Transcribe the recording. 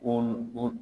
O o